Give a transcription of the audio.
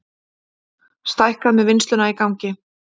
Stækkað með vinnsluna í gangi